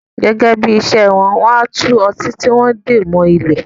Gẹ́gẹ́ bí ìṣe wọn, wọ́n á tú ọtí tí wón de mọ ilé